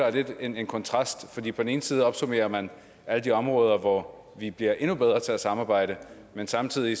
er lidt en en kontrast for på den ene side opsummerer man alle de områder hvor vi bliver endnu bedre til at samarbejde men samtidig